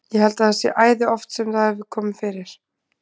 Ég held að það sé æði oft sem það hefur komið fyrir.